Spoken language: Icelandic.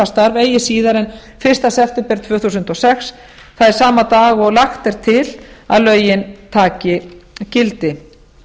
starf eigi síðar en fyrsta september tvö þúsund og sex það er sama dag og lagt er til að lögin taki gildi